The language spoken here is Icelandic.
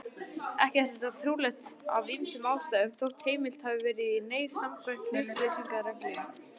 Ekki er það trúlegt af ýmsum ástæðum, þótt heimilt hafi verið í neyð samkvæmt hlutleysisreglum.